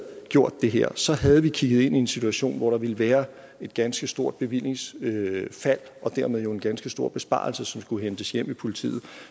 gjort det her havde vi kigget ind i en situation hvor der ville være et ganske stort bevillingsfald og dermed jo en ganske stor besparelse som skulle hentes hjem i politiet